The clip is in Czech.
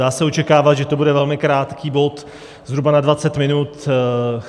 Dá se očekávat, že to bude velmi krátký bod, zhruba na 20 minut.